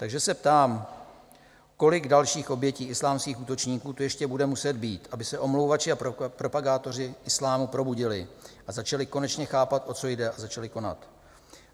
Takže se ptám, kolik dalších obětí islámských útočníků tu ještě bude muset být, aby se omlouvači a propagátoři islámu probudili a začali konečně chápat, o co jde, a začali konat?